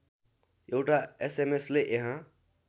एउटा एसएमएसले यहाँ